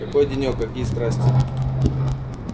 какой денёк какие страсти